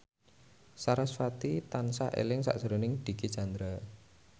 sarasvati tansah eling sakjroning Dicky Chandra